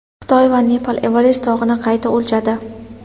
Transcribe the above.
Xitoy va Nepal Everest tog‘ini qayta o‘lchadi.